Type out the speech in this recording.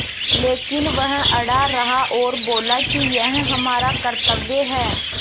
लेकिन वह अड़ा रहा और बोला कि यह हमारा कर्त्तव्य है